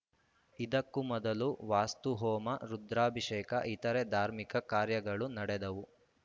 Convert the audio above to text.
ಇದಕ್ಕೂ ಮೊದಲು ವಾಸ್ತುಹೋಮ ರುದ್ರಾಭಿಷೇಕ ಇತರೆ ಧಾರ್ಮಿಕ ಕಾರ್ಯಗಳು ನಡೆದವು